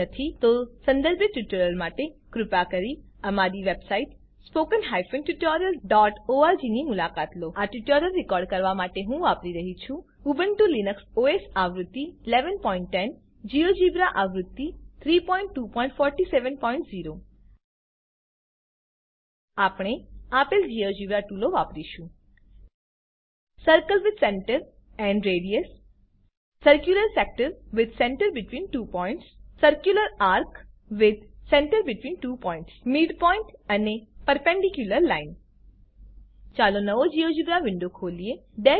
જો નથી તો સંદર્ભિત ટ્યુટોરીયલો માટે કૃપા કરી અમારી વેબસાઈટ httpspoken tutorialorg ની મુલાકાત લો આ ટ્યુટોરીયલ રેકોર્ડ કરવા માટે હું વાપરી રહ્યી છું ઉબુન્ટુ લીનક્સ ઓએસ આવૃત્તિ 1110 જીઓજિબ્રા આવૃત્તિ 32470 આપણે આપેલ જીઓજિબ્રા ટૂલો વાપરીશું circle with centre and radius circular sector with centre between two points circular ARC with centre between two points midpoint અને પર્પેન્ડિક્યુલર લાઇન ચાલો નવો જીઓજિબ્રા વિન્ડો ખોલીએ